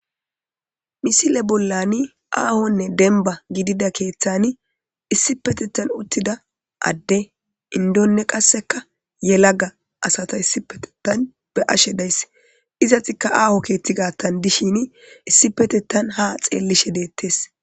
Misile bollani aahonne denba gidida keeththani issipetettan uttida adde indonne qasseka yelaga asata issipetetan be'ashe dayss izatikka aaho keeththi gaattan dishini issipetettan ha xeellishe deettes